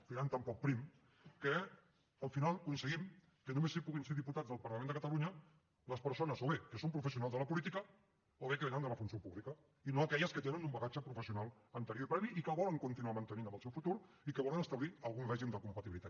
filant tan poc prim que al final aconseguim que només puguin ser diputats del parlament de catalunya les persones o bé que són professionals de la política o bé que vénen de la funció pública i no aquelles que tenen un bagatge professional anterior i previ i que el volen continuar mantenint en el seu futur i que volen establir algun règim de compatibilitat